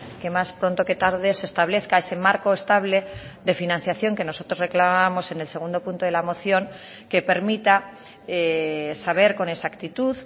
que más pronto que tarde se establezca ese marco estable de financiación que nosotros reclamábamos en el segundo punto de la moción que permita saber con exactitud